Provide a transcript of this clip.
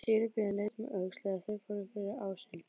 Síra Björn leit um öxl þegar þeir fóru fyrir ásinn.